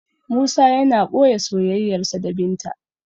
Musa yana boye soyayyarsa da binta